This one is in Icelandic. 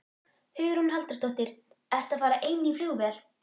Hugrún Halldórsdóttir: Ertu að fara ein í flugvél?